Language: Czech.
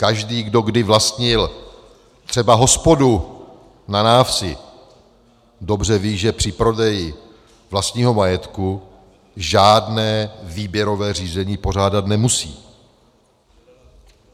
Každý, kdo kdy vlastnil třeba hospodu na návsi, dobře ví, že při prodeji vlastního majetku žádné výběrové řízení pořádat nemusí.